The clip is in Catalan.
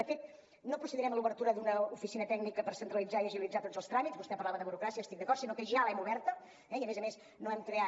de fet no procedirem a l’obertura d’una oficina tècnica per centralitzar i agilitzar tots les tràmits vostè parlava de burocràcia hi estic d’acord sinó que ja l’hem oberta i a més a més no hem creat